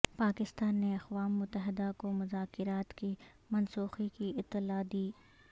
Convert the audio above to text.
پاکستان نے اقوام متحدہ کو مذاکرات کی منسوخی کی اطلاع دی